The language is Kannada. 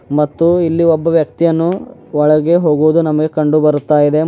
ಮತ್ತು ಇಲ್ಲಿ ಒಬ್ಬ ವ್ಯಕ್ತಿಯನ್ನು ಒಳಗೆ ಹೋಗುವುದನ್ನು ನಮಗೆ ಕಂಡು ಬರುತ್ತಾ ಇದೆ.